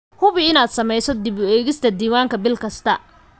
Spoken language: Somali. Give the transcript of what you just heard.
Hubi inaad sameyso dib u eegista diiwaanka bil kasta.